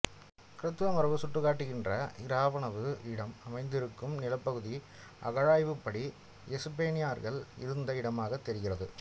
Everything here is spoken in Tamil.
கிறித்தவ மரபு சுட்டிக்காட்டுகின்ற இராவுணவு இடம் அமைந்திருக்கும் நிலப்பகுதி அகழ்வாய்வுப்படி எஸ்ஸேனியர்கள் இருந்த இடமாகத் தெரிகிறது